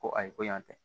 Ko ayi ko yan tɛ